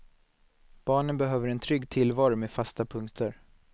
Barnen behöver en trygg tillvaro med fasta punkter.